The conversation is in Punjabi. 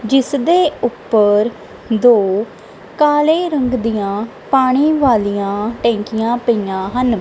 ਜਿਸ ਦੇ ਉੱਪਰ ਦੋ ਕਾਲੇ ਰੰਗ ਦੀਆਂ ਪਾਣੀ ਵਾਲੀਆਂ ਟੈਂਕੀਆਂ ਪਈਆਂ ਹਨ।